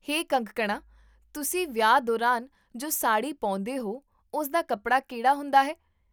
ਹੇ ਕੰਗਕਣਾ, ਤੁਸੀਂ ਵਿਆਹਾਂ ਦੌਰਾਨ ਜੋ ਸਾੜੀ ਪਾਉਂਦੇ ਹੋ ਉਸ ਦਾ ਕੱਪੜਾ ਕਿਹੜਾ ਹੁੰਦਾ ਹੈ?